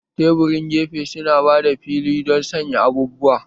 Taburin gefe su na ba da fili don sanya abubuwa